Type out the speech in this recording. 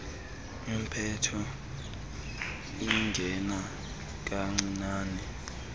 impepho ingena kancinane